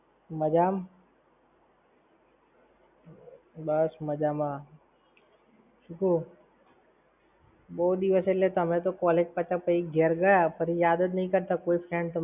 મજામાં? બસ મજામાં! શું કેય? બો દિવસ એટલે તમે તો college પાછા પછી ઘેર ગયા ફરી યાદ જ નઈ કરતા કોઈ friend તમને